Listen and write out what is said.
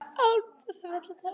Án þess að fella tár.